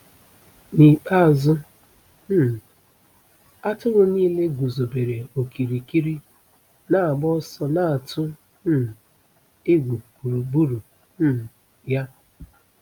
N’ikpeazụ, um atụrụ niile guzobere okirikiri, na-agba ọsọ na-atụ um egwu gburugburu um ya.”